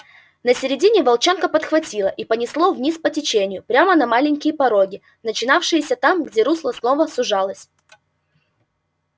на середине волчонка подхватило и понесло вниз по течению прямо на маленькие пороги начинавшиеся там где русло снова сужалось